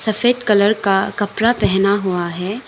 सफेद कलर का कपड़ा पहेना हुआ है।